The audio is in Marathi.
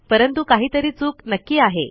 परंतु काहीतरी चूक नक्की आहे